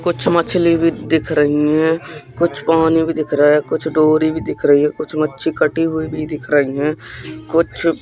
कुछ मछली भी दिख रही है कुछ पानी भी दिख रहा है कुछ डोरी भी दिख रही है कुछ मच्छी कटी हुई भी दिख रही है कुछ--